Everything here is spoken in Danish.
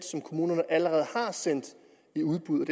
som kommunerne allerede har sendt i udbud og